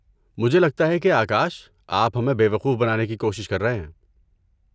مجھے لگتا ہے کہ آکاش آپ ہمیں بے وقوف بنانے کی کوشش کر رہے ہیں۔